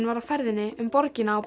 var á ferðinni um borgina á